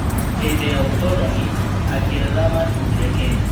Hĩndĩ ya ũkoroni, Angeretha makinyire Kenya.